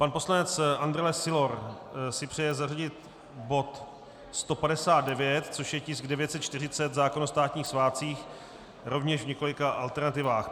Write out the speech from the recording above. Pan poslanec Andrle Sylor si přeje zařadit bod 159, což je tisk 940, zákon o státních svátcích, rovněž v několika alternativách.